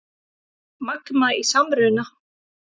Magma í samruna